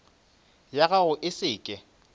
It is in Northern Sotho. ya gago e se ke